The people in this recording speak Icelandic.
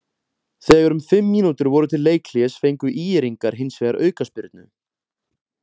Þegar um fimm mínútur voru til leikhlés fengu ÍR-ingar hins vegar aukaspyrnu.